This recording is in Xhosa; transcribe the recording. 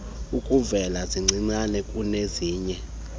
ukuvela zincinane kunezinye